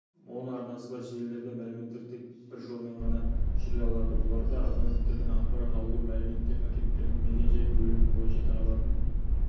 моноарнасы бар желілерде мәліметтер тек бір жолмен ғана жүре алады бұларда абоненттердің ақпарат алуы мәліметтер пакеттерінің мекен-жай бөлімі бойынша таралатын